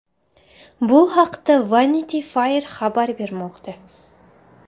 Bu haqda Vanity Fair xabar bermoqda .